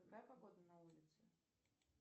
какая погода на улице